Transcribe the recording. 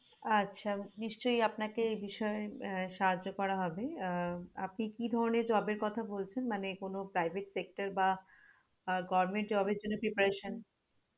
আচ্ছা নিশ্চই আপনাকে এই বিষয়ে আহ সাহায্য করা হবে আহ আপনি কি ধরণের job এর কথা বলছেন মানে কোনো private sector বা আহ goverment job এর জন্য preparation